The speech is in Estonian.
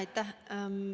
Aitäh!